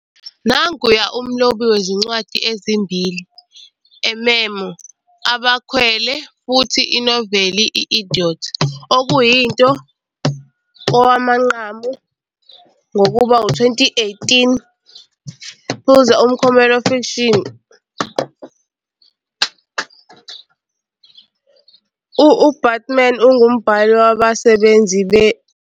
Nanguya umlobi wezincwadi ezimbili- a memoir, "abakhwelwe," futhi inoveli "I Idiot," okuyinto kowamanqamu ngokuba 2018 Pulitzer uMklomelo Fiction. UBatuman ungumbhali wabasebenzi "beNew Yorker."